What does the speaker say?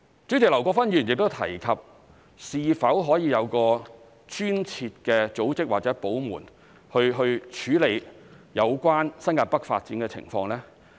主席，劉國勳議員亦提及是否可以有專設的組織或部門處理有關新界北發展的情況。